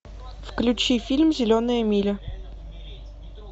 включи фильм зеленая миля